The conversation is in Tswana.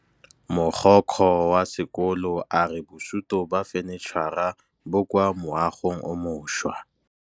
Mogokgo wa sekolo a re bosutô ba fanitšhara bo kwa moagong o mošwa.